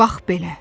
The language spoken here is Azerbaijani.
Bax belə.